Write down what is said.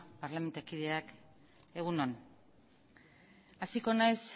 parlamentukideak egun on hasiko naiz